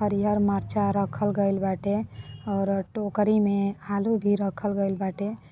हरियर मरीचा रखे बाटे और टोकरी मे आलू भी रखल गइल बाटे।